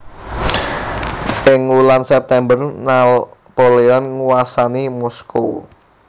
Ing wulan September Napoleon nguwasani Moskow